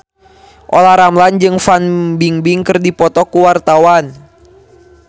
Olla Ramlan jeung Fan Bingbing keur dipoto ku wartawan